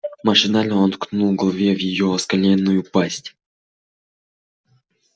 машинально он ткнул головней в её оскаленную пасть